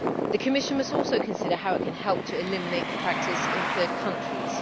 The Commission must also consider how it can help to eliminate the practice in third countries.